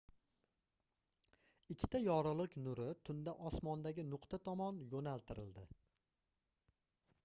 ikkita yorugʻlik nuri tunda osmondagi nuqta tomon yoʻnaltirildi